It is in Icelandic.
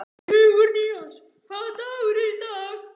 Sigurnýjas, hvaða dagur er í dag?